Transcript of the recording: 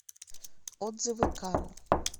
отзывы каро